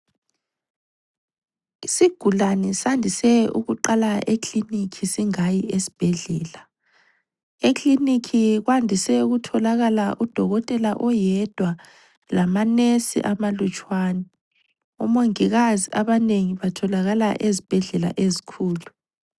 lsigulane sandise ukuqala eklinikhi singayi esbhedlela. Eklinikhi kwandise ukutholakala udokotela oyedwa lamanesi amalutshwana. Omongikazi abanengi batholakala ezibhedlela ezikhulu.